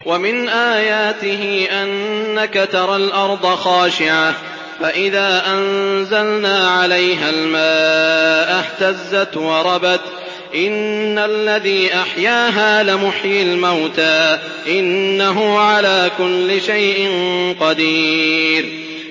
وَمِنْ آيَاتِهِ أَنَّكَ تَرَى الْأَرْضَ خَاشِعَةً فَإِذَا أَنزَلْنَا عَلَيْهَا الْمَاءَ اهْتَزَّتْ وَرَبَتْ ۚ إِنَّ الَّذِي أَحْيَاهَا لَمُحْيِي الْمَوْتَىٰ ۚ إِنَّهُ عَلَىٰ كُلِّ شَيْءٍ قَدِيرٌ